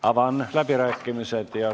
Avan läbirääkimised.